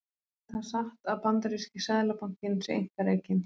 Er það satt að bandaríski seðlabankinn sé einkarekinn?